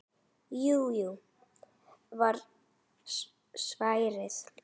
Jú, jú var svarið.